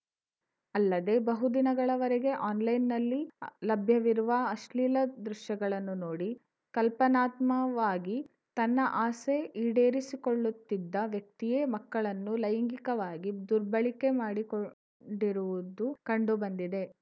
ಅಲ್ಲದೆ ಬಹುದಿನಗಳವರೆಗೆ ಆನ್‌ಲೈನ್‌ನಲ್ಲಿ ಲಭ್ಯವಿರುವ ಅಶ್ಲೀಲ ದೃಶ್ಯಗಳನ್ನು ನೋಡಿ ಕಲ್ಪನಾತ್ಮವಾಗಿ ತನ್ನ ಆಸೆ ಈಡೇರಿಸಿಕೊಳ್ಳುತ್ತಿದ್ದ ವ್ಯಕ್ತಿಯೇ ಮಕ್ಕಳನ್ನು ಲೈಂಗಿಕವಾಗಿ ದುರ್ಬಳಕೆ ಮಾಡಿಕೊಂಡಿರುವುದು ಕಂಡುಬಂದಿದೆ